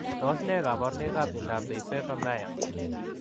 Tos ne kabarunoik ap miondoop Pifeifa Mayer?